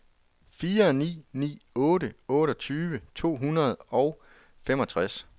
fire ni ni otte otteogtyve to hundrede og femogtres